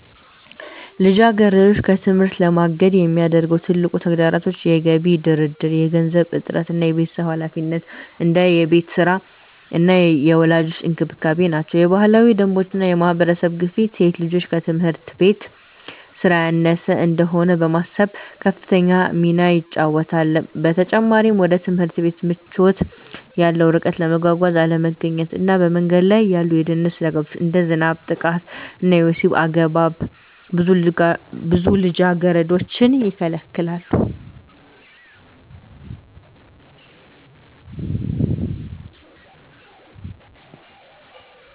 ልጃገረዶችን ከትምህርት ለማገድ የሚያደርጉ ትልቁ ተግዳሮቶች የገቢ ድርድር፣ የገንዘብ እጥረት እና የቤተሰብ ኃላፊነት (እንደ የቤት ሥራ እና የወላጆች እንክብካቤ) ናቸው። የባህላዊ ደንቦች እና የማህበረሰብ ግፊት ሴት ልጆች ትምህርት ከቤት ሥራ ያነሰ እንደሆነ በማሰብ ከፍተኛ ሚና ይጫወታሉ። በተጨማሪም፣ ወደ ትምህርት ቤት ምቾት ያለው ርቀት፣ የመጓጓዣ አለመገኘት እና በመንገድ ላይ ያሉ የደህንነት ስጋቶች (እንደ ዝናብ፣ ጥቃት ወይም የወሲብ አገባብ) ብዙ ልጃገረዶችን ይከለክላሉ።